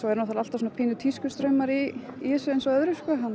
náttúrulega alltaf pínu tískustraumar í þessu eins og öðru